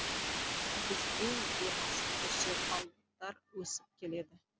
бізден де асып түсер алыптар өсіп келеді